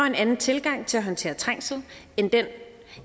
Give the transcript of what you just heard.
en anden tilgang til at håndtere trængsel